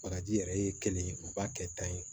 Bagaji yɛrɛ ye kelen u b'a kɛ tan ye